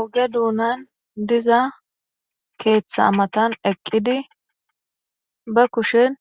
Oge duunan diza keeththa amatan eqqidi ba kushen